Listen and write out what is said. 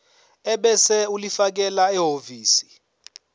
ebese ulifakela ehhovisi